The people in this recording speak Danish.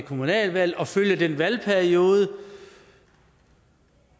kommunalvalget og følge den samme valgperiode